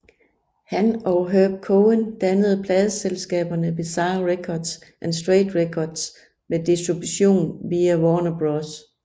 Han og Herb Cohen dannede pladeselskaberne Bizarre Records og Straight Records med distribution via Warner Bros